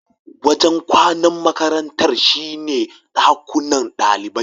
Wajen kwanan makarantar shine dakunan ɗalibai.